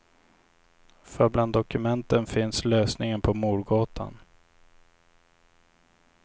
För bland dokumenten finns lösningen på mordgåtan.